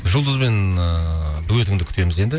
жұлдызбен ыыы дуэтіңді күтеміз енді